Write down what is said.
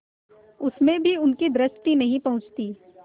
उसमें भी उनकी दृष्टि नहीं पहुँचती